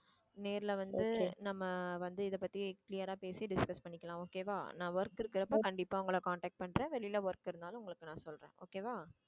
நேர்ல வந்து நம்ம வந்து இதை பத்தி clear ஆ பேசி discuss பண்ணிக்கலாம் okay வா நான் work இருக்கிறப்ப கண்டிப்பா உங்களை contact பண்றேன் வெளியில work இருந்தாலும் உங்களுக்கு நான் சொல்றேன் okay வா